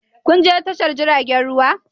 Kun je tashar jiragen ruwa?